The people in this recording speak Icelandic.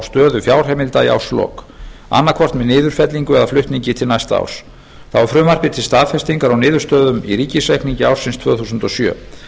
stöðu fjárheimilda í árslok annaðhvort með niðurfellingu eða flutningi til næsta árs þá er frumvarpið til staðfestingar á niðurstöðum í ríkisreikningi ársins tvö þúsund og sjö